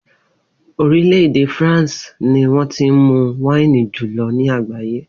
Orílè̩ èdè France ni wó̩n ti ń mu wáìnì jù lo̩ ní àgbàyé